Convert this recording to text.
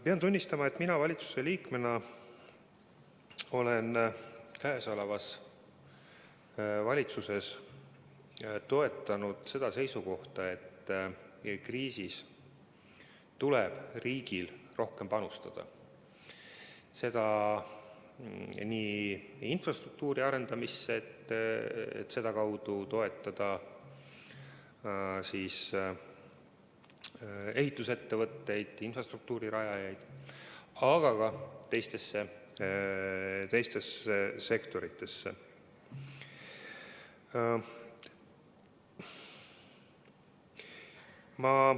Pean tunnistama, et mina valitsuse liikmena olen selles valitsuses toetanud seisukohta, et kriisis tuleb riigil rohkem panustada – nii infrastruktuuri arendamisse, et sedakaudu toetada ehitusettevõtteid, infrastruktuuri rajajaid, kui ka teistesse sektoritesse.